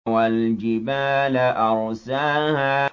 وَالْجِبَالَ أَرْسَاهَا